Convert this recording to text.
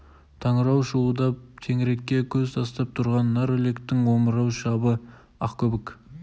танауы шуылдап теңірекке көз тастап түрған нар үлектің омырау шабы ақкөбік